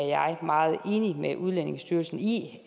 jeg er meget enig med udlændingestyrelsen i